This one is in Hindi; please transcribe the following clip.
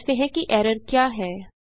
पहले समझते हैं कि एरर क्या है